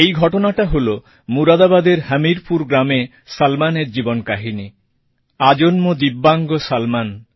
এই ঘটনাটা হল মুরাদাবাদের হমিরপুর গ্রামে সলমনের জীবন কাহিনি আজন্ম দিব্যাঙ্গ সলমন